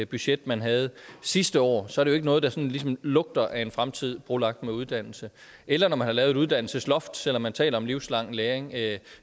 budget man havde sidste år så er det jo ikke noget der sådan ligesom lugter af en fremtid brolagt med uddannelse eller når man har lavet et uddannelsesloft selv om man taler om livslang læring er det